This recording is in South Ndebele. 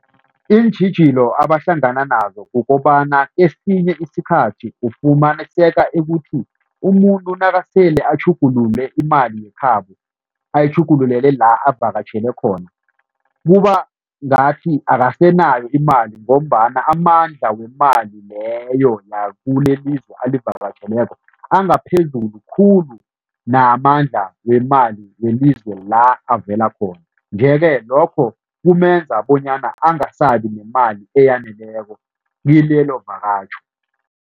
Iintjhijilo abahlangana nazo kukobana esinye isikhathi ufumaniseka ekuthi umuntu nakasele atjhugulule imali yekhabo, ayitjhugululele la avakatjhele khona kuba ngathi akasenayo imali ngombana amandla wemali leyo yakulelizwe alivakatjheleko angaphezulu khulu namandla wemali welizwe la avela khona, nje-ke lokho kumenza bonyana angasabi nemali eyaneleko kilelovakatjho.